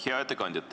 Hea ettekandja!